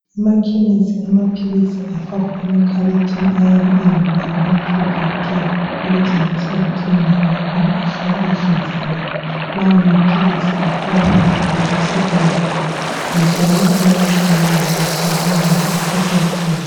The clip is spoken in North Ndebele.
Emakhemisi amaphilisi afakwa emakhabothini ayabe elombala omhlophe nke okutshengisa ukuthi indawo yakhona ihlala ihlanzekile. Lawo maphilisi afakwa ngamabhokisi awo njalo ayabe elayinisiwe ngendlela eqoqekileyo.